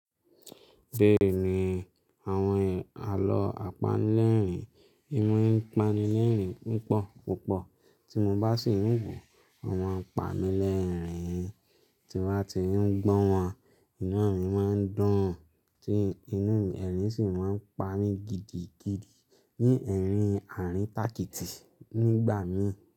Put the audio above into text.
Bẹ́ẹ̀ni, àwọn àlọ́ àpanlẹ̀rìn, ì maa ìpánilẹ́rìn púpọ̀ púpọ̀ tí mo bá sì ń wò imaa pamílẹ́rìn tí wá ti ń gbọ́n wọn, inú mi máa ń dùn, tí inú ẹ̀rín sì máa ń pa mí gidigidi ní ẹ̀rín àárín tàkìtì nígbà mìí.